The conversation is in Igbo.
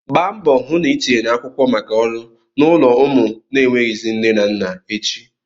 Gba mbọ hụ na ị tinyere akwụkwọ maka ọrụ n'ụlọ ụmụ na-enweghịzị nne na nna echi!